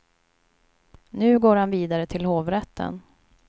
Nu går han vidare till hovrätten.